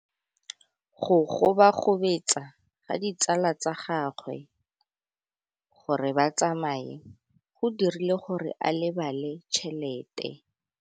Go gobagobetsa ga ditsala tsa gagwe, gore ba tsamaye go dirile gore a lebale tšhelete.